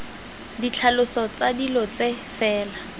ditlhaloso tsa dilo tse fela